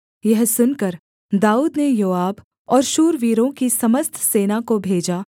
यह सुनकर दाऊद ने योआब और शूरवीरों की समस्त सेना को भेजा